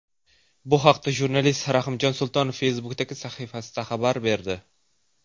Bu haqda jurnalist Rahimjon Sultonov Facebook’dagi sahifasida xabar berdi .